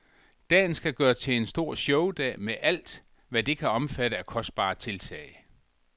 Dagen skal gøres til en stor showdag med alt, hvad det kan omfatte af kostbare tiltag.